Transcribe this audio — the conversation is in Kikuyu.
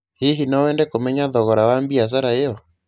Hihi no wende kũmenya thogora wa biacara ĩyo?